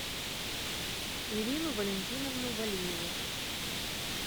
ирину валентиновну валиеву